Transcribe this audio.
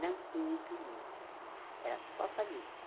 não tinha inquilinos, era só família.